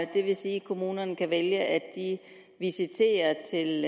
det vil sige at kommunerne kan vælge at visitere til